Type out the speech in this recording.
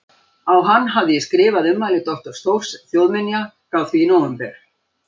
Á hann hafði ég skrifað ummæli doktors Þórs þjóðminja frá því í nóvember